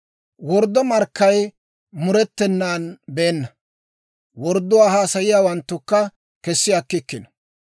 Worddo markkay murettenan beenna; wordduwaa haasayiyaawanttukka kessi akkikkino.